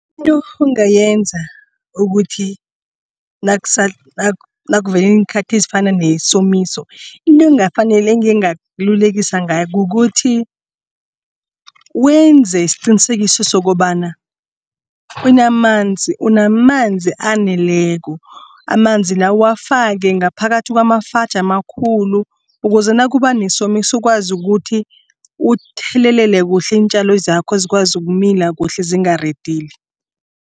Into ongayenza ukuthi nakuvele iinkhathi ezifana nesomiso into engingakululekisa ngayo kukuthi wenze isiqinisekiso sokobana unamanzi unamanzi aneleko. Amanzi lawo uwafake ngaphakathi kwamafaji amakhulu. Ukuze nakuba nesomiso ukwazi ukuthi uthelelele kuhle iintjalo zakho zikwazi ukumila kuhle zingaridili.